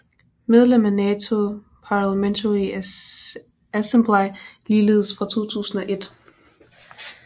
Medlem af NATO Parlamentary Assembly ligeledes fra 2001